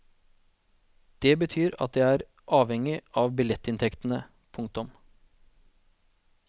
Det betyr at det er avhengig av billettinntektene. punktum